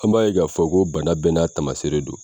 An b'a ye k'a fɔ ko bana bɛɛ n'a tamaseere don